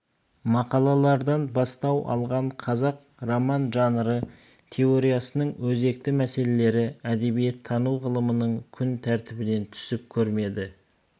мақалалардан бастау алған қазақ роман жанры теориясының өзекті мәселелері әдебиеттану ғылымының күн тәртібінен түсіп көрмеді